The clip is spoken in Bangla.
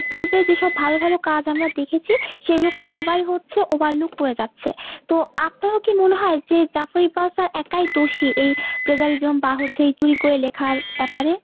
পূর্ব যেসব ভালো ভালো কাজ আমরা দেখেছি সেইগুলোকে সবাই হচ্ছে overlook করে যাচ্ছে তো আপনারো কি মোনে হয় যে Zafar Iqbal sir একই দোষী এই plagiarism বা হচ্ছে এই চুরি কোরে লেখার ব্যাপারে ?